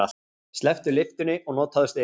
Slepptu lyftunni og notaðu stigann.